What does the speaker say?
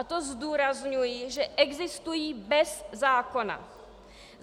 A to zdůrazňuji, že existují bez zákona.